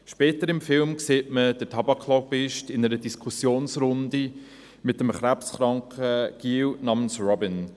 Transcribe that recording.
Später im Film sieht man den Tabak-Lobbyisten in einer Diskussionsrunde mit einem krebskranken Jungen namens Robin.